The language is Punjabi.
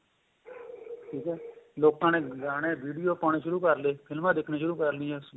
ਠੀਕ ਏ ਲੋਕਾਂ ਨੇ ਗਾਣੇ video ਪਾਉਣੇ ਸ਼ੁਰੂ ਕਰਲੋ film a ਦੇਖਣਾ ਸ਼ੁਰੂ ਕਰ ਲਿਆ